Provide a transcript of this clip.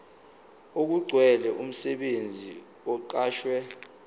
okugcwele umsebenzi oqashwe